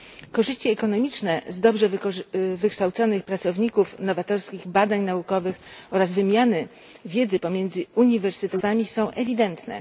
Korzyści ekonomiczne z dobrze wykształconych pracowników, nowatorskich badań naukowych oraz wymiany wiedzy pomiędzy uniwersytetami i przedsiębiorstwami są ewidentne.